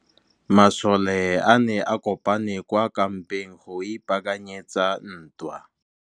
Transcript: Masole a ne a kopane kwa kampeng go ipaakanyetsa ntwa.